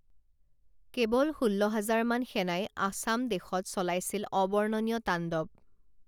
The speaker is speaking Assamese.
কেৱল ষোল্ল হাজাৰ মান সেনাই আসাম দেশত চলাইছিল অবৰ্ণনীয় তাণ্ডৱ